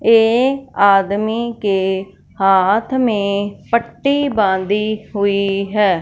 एक आदमी के हाथ में पट्टी बांधी हुई है।